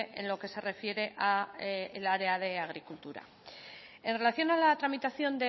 en lo que se refiere al área de agricultura en relación a la tramitación